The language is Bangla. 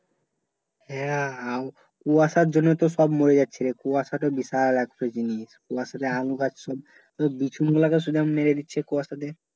হ্যাঁ আব কুয়াশার জন্য তো সব মরে যাচ্ছে রে কুয়াশা টা বিশাল একটা জিনিস কুয়াশা আলু গাছ সব বিচুন গুলা মেরে দিচ্ছে কুয়াশাতে